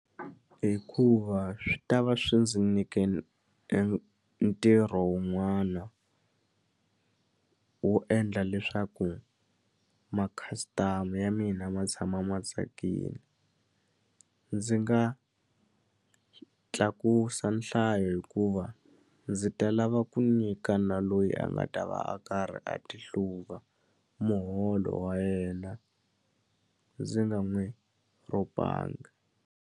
Hikuva swi ta va swi ndzi nike ntirho wun'wana wo endla leswaku ma-customer ya mina ma tshama ma tsakile ndzi nga tlakusa nhlayo hikuva ndzi ta lava ku nyika na loyi a nga ta va a karhi a ti hluva muholo wa yena ndzi nga n'wi rhobanga.